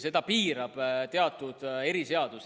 Seda piirab teatud eriseadus.